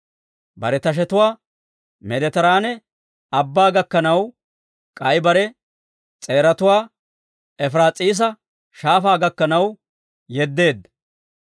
Bare tashetuwaa Meediteraane Abbaa gakkanaw, k'ay bare s'eeratuwaa Efiraas'iisa Shaafaa gakkanaw yeddeedda.